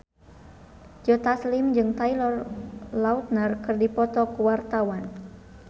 Joe Taslim jeung Taylor Lautner keur dipoto ku wartawan